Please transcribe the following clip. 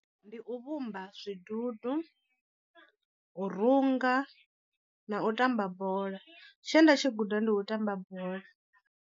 Ndi u vhumba zwidudu, u runga, na u tamba bola, tshe nda tshi guda ndi u tamba bola.